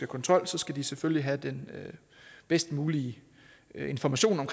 kontrol skal de selvfølgelig have den bedst mulige information om